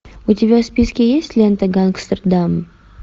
у тебя в списке есть лента гангстердам